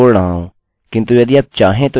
जो आप देख रहे है वह पिछले ट्यूटोरियल से है